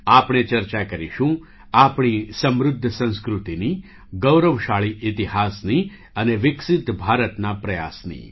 આપણે ચર્ચા કરીશું આપણી સમૃદ્ધ સંસ્કૃતિની ગૌરવશાળી ઇતિહાસની અને વિકસિત ભારતના પ્રયાસની